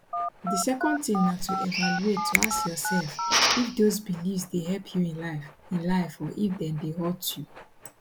di second tin na to evaluate to ask yourself if those beliefs dey help you in life in life or if dem dey hurt you